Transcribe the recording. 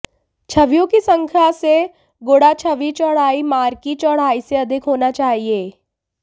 छवियों की संख्या से गुणा छवि चौड़ाई मार्की चौड़ाई से अधिक होना चाहिए